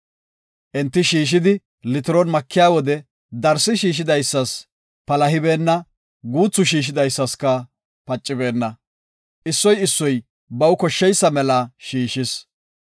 Enti shiishidi litiron makiya wode darsi shiishidaysas palahibeenna; guuthu shiishidaysaska pacibeenna. Issoy issoy baw koshsheysa mela shiishis.